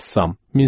Rəssam.